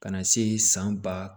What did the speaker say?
Ka na se san ba